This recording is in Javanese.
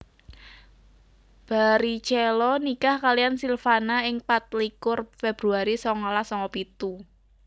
Barrichello nikah kaliyan Silvana ing patlikur Februari songolas songo pitu